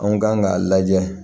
An kan k'a lajɛ